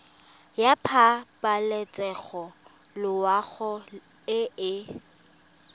ya pabalesego loago e e